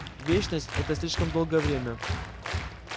вечность это слишком долгое время